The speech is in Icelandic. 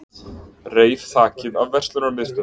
Reif þakið af verslunarmiðstöð